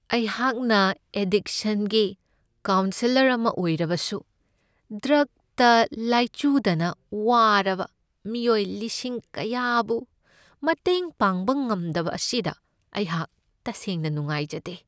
ꯑꯩꯍꯥꯛꯅ ꯑꯦꯗꯤꯛꯁꯟꯒꯤ ꯀꯥꯎꯟꯁꯦꯂꯔ ꯑꯃ ꯑꯣꯏꯖꯔꯕꯁꯨ ꯗ꯭ꯔꯛꯇ ꯂꯥꯆꯨꯗꯅ ꯋꯥꯔꯕ ꯃꯤꯑꯣꯏ ꯂꯤꯁꯤꯡ ꯀꯌꯥꯕꯨ ꯃꯇꯦꯡ ꯄꯥꯡꯕ ꯉꯝꯗꯕ ꯑꯁꯤꯗ ꯑꯩꯍꯥꯛ ꯇꯁꯦꯡꯅ ꯅꯨꯡꯉꯥꯏꯖꯗꯦ ꯫